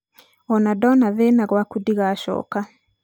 ona ndona thĩna gwaku ndigacooka.